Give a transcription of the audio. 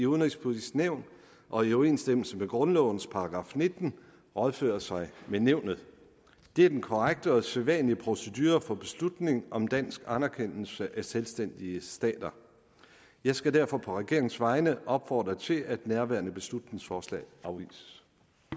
udenrigspolitiske nævn og i overensstemmelse med grundlovens § nitten rådføre sig med nævnet det er den korrekte og sædvanlige procedure for beslutning om dansk anerkendelse af selvstændige stater jeg skal derfor på regeringens vegne opfordre til at nærværende beslutningsforslag afvises